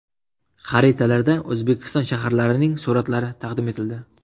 Xaritalar”da O‘zbekiston shaharlarining suratlari taqdim etildi.